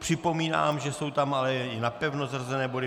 Připomínám, že jsou tam ale i napevno zařazené body.